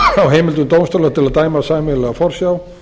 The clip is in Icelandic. á heimildum dómstóla til að dæma sameiginlega forsjá